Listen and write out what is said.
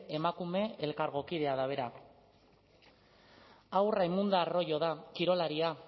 emakume elkargokidea da bera hau raimunda arroyo da kirolaria